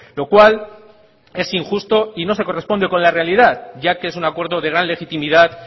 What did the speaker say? lo cual es injusto y no se corresponde con la realidad ya que es un acuerdo de gran legitimidad